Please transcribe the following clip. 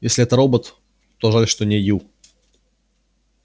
если это робот то жаль что не ю